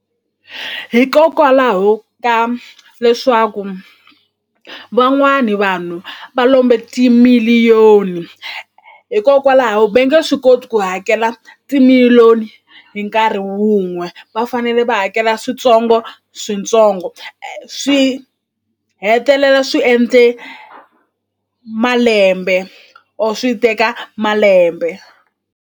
Hikokwalaho ka leswaku van'wani vanhu va lombe ti-million hikokwalaho ve nge swi koti ku hakela ti-million hi nkarhi wun'we va fanele va hakela switsongoswitsongo swi hetelela swi endle malembe or swi teka malembe.